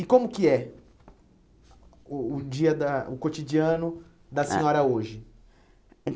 E como que é o o dia da ah o cotidiano da senhora hoje?